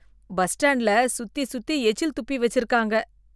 bus ஸ்டாண்ட்ல சுத்தி சுத்தி எச்சில் துப்பி வச்சிருக்காங்க